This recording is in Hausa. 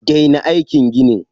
Daina aikin ginin!